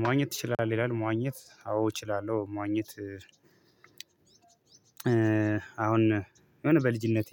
መዋኘት ትችላለህ? ይላል መዋኘት አዎ እችላለሁ መዋኘት። አሁን የሆነ በልጅነቴ